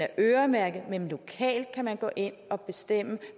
er øremærket men lokalt kan man gå ind og bestemme